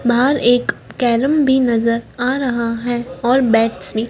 बाहर एक कैरम भी नजर आ रहा है और बैट्स भी--